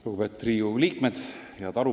Lugupeetud Riigikogu liikmed!